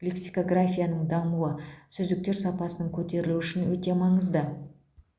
лексикографияның дамуы сөздіктер сапасының көтерілуі үшін өте маңызды